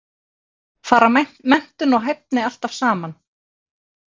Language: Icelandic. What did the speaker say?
Fara menntun og hæfni alltaf saman?